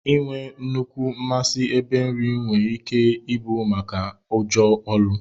Inwee nnukwu masi ebe nri noo nwere ike ibu maka ụjọ ọlụ.